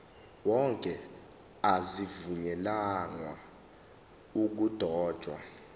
wonke azivunyelwanga ukudotshwa